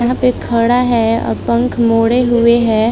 यहाँ पे खड़ा है और पंख मोढ़े हुए है।